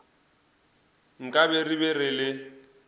nkabe re be re le